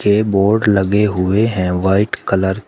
ये बोर्ड लगे हुए हैं व्हाइट कलर --